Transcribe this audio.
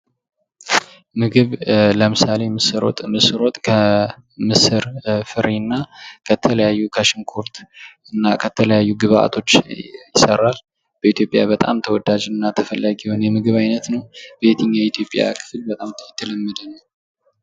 ምግብ ለምሳሌ ምስር ወጥ ምስር ወጥ ከምስር ፍሬናተለያዩ ከሽንኩርት እና ከተለያዩ ግብአቶች ይሰራል በኢትዮጵያ በጣም ተወዳጅና ተፈላጊ የምግብ አይነት። በየትኛው የኢትዮጵያ ክፍል የተለመደ ነው?